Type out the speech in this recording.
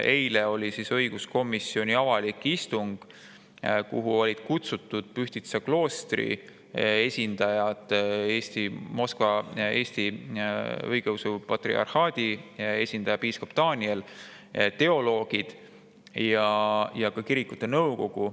Eile oli õiguskomisjoni avalik istung, kuhu olid kutsutud Pühtitsa kloostri esindajad, Moskva Patriarhaadi Eesti Õigeusu Kiriku esindaja piiskop Daniel, teoloogid ja ka kirikute nõukogu.